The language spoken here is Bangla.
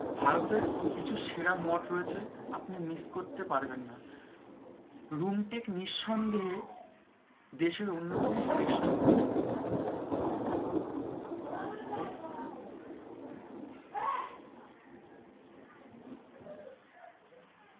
ভারতে কিছু সেরা মঠ রয়েছে আপনি miss করতে পারবেন না। রুমটেক নিসন্দেহে দেশের উন্নতম শ্রেষ্ঠ মঠ।